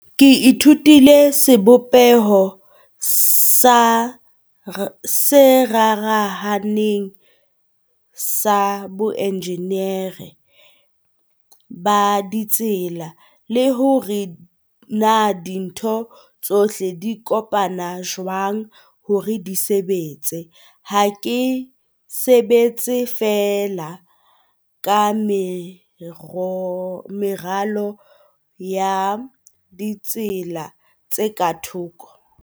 "Ke ithutile sebopeho se rarahaneng sa boenjeneri ba ditsela le hore na dintho tsohle di kopana jwang hore di sebetse. Ha ke sebetse fee la ka meralo ya ditsela tse ka thoko."